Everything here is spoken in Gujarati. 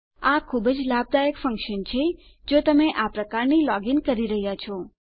આ ખુબ જ લાભદાયક ફંક્શન છે જો તમે આ પ્રકારની લોગ ઇન કરી રહ્યા છો